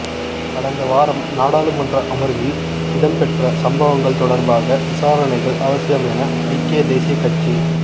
கடந்த வாரம் நாடாளுமன்ற அமர்வில் இடம்பெற்ற சம்பவங்கள் தொடர்பாக விசாரணைகள் அவசியம் என ஐக்கிய தேசிய கட்